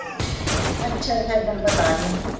ਅੱਛਾ ਫੇਰ ਤੈਨੂੰ ਪਤਾ ਹੀ ਆ